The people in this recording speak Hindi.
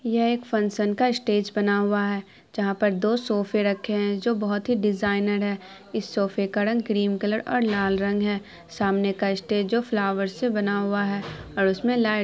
ये एक फंकशन का स्टेज बना हुआ है जहाँ पर दो सोफ़े रखे हैं जो बोहत ही डिज़ाइनर है| इस सोफ़े का रंग क्रीम कलर और लाल रंग है| सामने का स्टेज फ्लावर से बना हुआ है और उसमें लाइट --